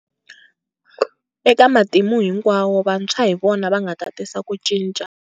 Eka matimu hinkwawo, vantshwa hi vona va nga ta tisa ku cinca.